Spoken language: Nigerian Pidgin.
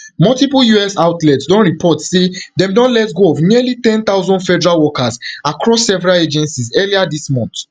multiple us outlets don report say dem don let go of nearly ten thousand federal workers across several agencies earlier dis month